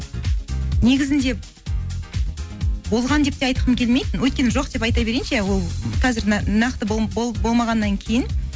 негізінде болған деп те айтқым келмейді өйткені жоқ деп айта берейінші иә ол қазір нақты болмағаннан кейін